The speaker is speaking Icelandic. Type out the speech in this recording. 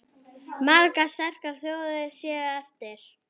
Margar sterkar þjóðir séu eftir.